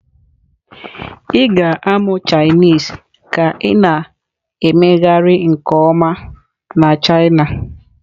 Ị ga-amụ Chinese ka ị na-emegharị nke ọma na china.